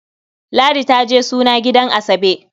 Ladi ta je suna gidan Asabe.